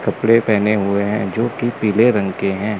कपड़े पहने हुए हैं जोकि पीले रंग के हैं।